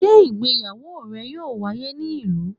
Sé ìgbéyàwó rẹ̀ yóò wáyé ní ìlú?